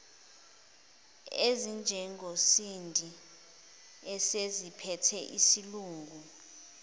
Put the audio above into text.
ezinjengosindi eseziziphethe isilungu